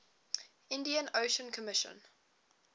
indian ocean commission